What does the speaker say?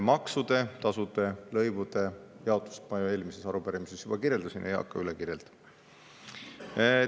Maksude, tasude, lõivude jaotust ma ju eelmises arupärimises juba kirjeldasin, ei hakka üle.